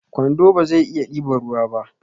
kwando bazai iya ɗiban ruwa ba